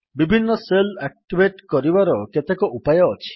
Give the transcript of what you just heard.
ବିଭିନ୍ନ shell activate କରିବାର କେତେକ ଉପାୟ ଅଛି